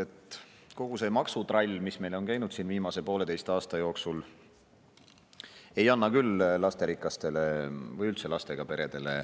Nimelt, kogu see maksutrall, mis meil on käinud siin viimase pooleteise aasta jooksul, ei anna küll lasterikastele või üldse lastega peredele